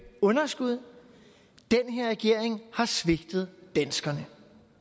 underskud den her regering har svigtet danskerne